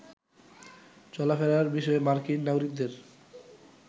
চলাফেরার বিষয়ে মার্কিন নাগরিকদের